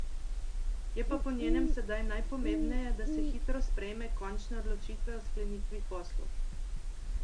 Je pa po njenem sedaj najpomembneje, da se hitro sprejme končne odločitve o sklenitvi poslov.